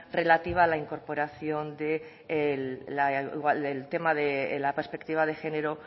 relativa a la incorporación el tema de las perspectiva de género